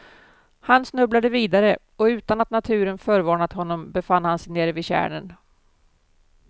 Han snubblade vidare och utan att naturen förvarnat honom befann han sig nere vid tjärnen.